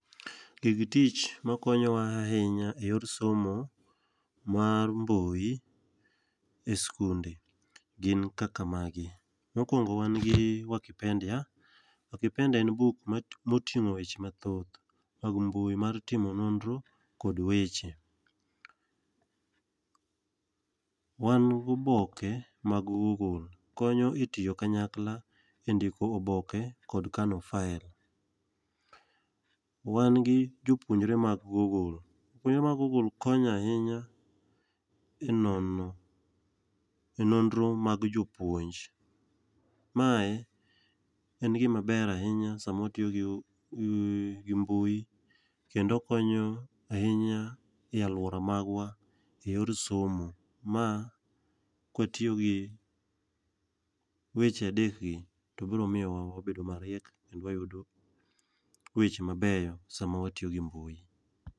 Gig tich makonyowa ahinya e yor somo mar mbui i skunde gin kaka magi, mokwongo wan gi wakipendia, wakipendia en buk moting'o weche mathoth mag mbui mar timo nonro kod weche. Wan gi oboke mag google, konyo e tiyo kanyakla e ndiko oboke kod kano file. wan gi jopuonjre mag google. Jopuonjre mag google konyo ahinya e nonro mag jopuonj. Mae en gimaber ahinya sama watiyo gi mbui kendo okonyo ahinya e alwora magwa e yor somo. Ma kwatiyo gi weche adekgi, to biro miyowa wabedo mariek kendo wayudo weche mabeyo sama watiyo gi mbui.